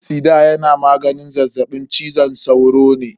Fansida yana maganin zazzaɓin cizon sauro ne.